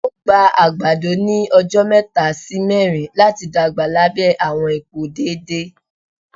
Ó gba àgbàdo ní ọjọ mẹ́ta sì mẹrin láti dàgbà lábẹ́ àwọn ipò déédéé